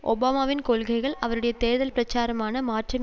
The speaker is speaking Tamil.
ஒபாமாவின் கொள்கைகள் அவருடைய தேர்தல் பிரச்சாரமான மாற்றம்